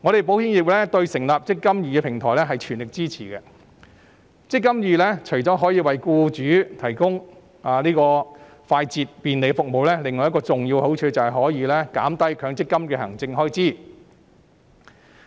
保險業對成立"積金易"平台表示全力支持。"積金易"除了為僱主提供快捷及便利的服務，另一個重要的好處是減低強積金的行政開支。